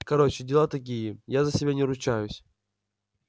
короче дела такие я за себя не ручаюсь